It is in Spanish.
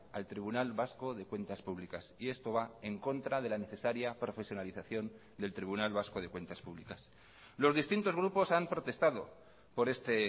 al tribunal vasco de cuentas públicas y esto va en contra de la necesaria profesionalización del tribunal vasco de cuentas públicas los distintos grupos han protestado por este